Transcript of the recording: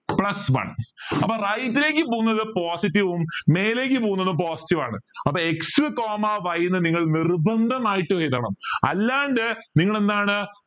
plus one അപ്പൊ right ലേക്ക് പോകുന്നത് positive വും മേലേക്ക് പോന്നതും positive ആണ് അപ്പൊ x coma y എന്ന് നിങ്ങൾ നിർബന്ധമായും എഴുതണം അല്ലാണ്ട് നിങ്ങൾ എന്താണ്